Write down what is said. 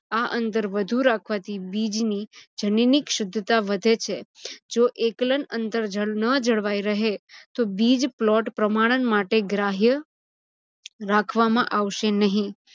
આ અંતર વધુ રાખવાથી બીજની જનીનીક શુધ્ધતા વધે છે. જો એકલન અંતર ન જળવાઇ રહે તો બીજ plot પ્રમાણન માટે ગ્રાહિય રાખવામાં આવશે નહિ.